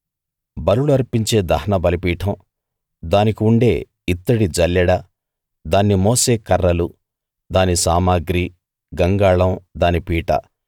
బలులు అర్పించే దహన బలిపీఠం దానికి ఉండే ఇత్తడి జల్లెడ దాన్ని మోసే కర్రలు దాని సామగ్రి గంగాళం దాని పీట